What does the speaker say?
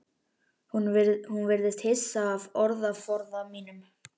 Hún virðist hissa á orðaforða mínum.